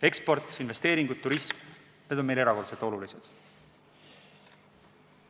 Eksport, investeeringud, turism – need on meie jaoks erakordselt olulised.